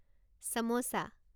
samosa